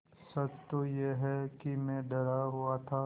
सच तो यह है कि मैं डरा हुआ था